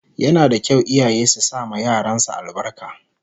Yana da kyau iyaye su sama yaran su albarka